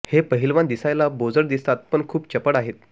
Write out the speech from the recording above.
हे पहिलवान दिसायला बोजड दिसतात पण खूप चपळ आहेत